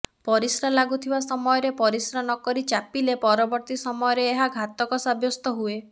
ପରିସ୍ରା ଲାଗୁଥିବା ସମୟରେ ପରିସ୍ରା ନ କରି ଚାପିଲେ ପରବର୍ତ୍ତୀ ସମୟରେ ଏହା ଘାତକ ସାବ୍ୟସ୍ତ ହୁଏ